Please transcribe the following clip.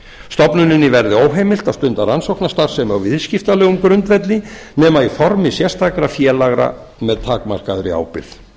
stofnuninni verði óheimilt að stunda rannsóknastarfsemi á viðskiptalegum grundvelli nema í formi sérstakra félaga með takmarkaðri ábyrgð